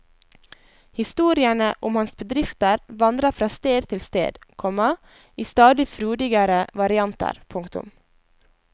Historiene om hans bedrifter vandrer fra sted til sted, komma i stadig frodigere varianter. punktum